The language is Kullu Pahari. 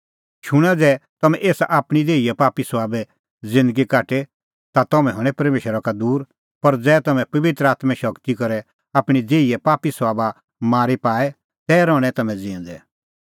शूणां ज़ै तम्हैं एसा आपणीं देहीए पापी सभाबे साबै ज़िन्दगी काटे ता तम्हैं हणैं परमेशरा का दूर पर ज़ै तम्हैं पबित्र आत्में शगती करै आपणीं देहीए पापी सभाबा मारी पाए तै रहणैं तम्हैं ज़िऊंदै